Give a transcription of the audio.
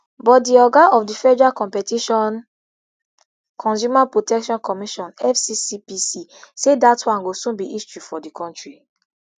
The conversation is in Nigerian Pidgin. but di oga of di federal competition consumer protection commission fccpc say dat one go soon be history for di kontri